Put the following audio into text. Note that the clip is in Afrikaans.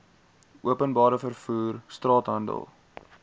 openbare vervoer straathandel